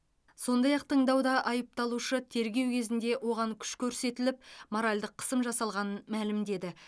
сондай ақ тыңдауда айыпталушы тергеу кезінде оған күш көрсетіліп моральдық қысым жасалғанын мәлімдеді